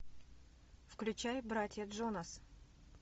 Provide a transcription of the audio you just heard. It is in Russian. включай братья джонас